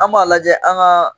An b'a lajɛ an ka